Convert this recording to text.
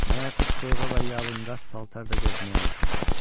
Mən artıq soyuğa və yalınqat paltarda gəzməyə alışmışam.